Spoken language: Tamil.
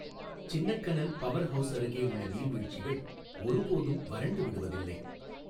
சின்னக்கனல் பவர் ஹவுஸ் அருகே உள்ள நீர்வீழ்ச்சிகள் ஒருபோதும் வறண்டு விடுவதில்லை.